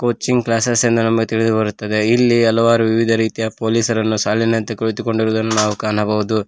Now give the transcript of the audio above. Coaching classes ಎಂದು ನಮಗೆ ತಿಳಿದು ಬರುತ್ತದೆ ಇಲ್ಲಿ ಹಲವಾರು ವಿವಿಧ ರೀತಿಯ ಪೊಲೀಸರನ್ನು ಸಾಲಿನಂತೆ ಕುಳಿತು ಕೊಂಡಿರುವುದನ್ನು ನಾವು ಕಾಣಬಹುದು.